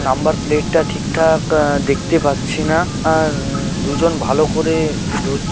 number প্লেটটা ঠিকঠাক আ দেখতে পাচ্ছি না আর উ দুজন ভালো করে ধু--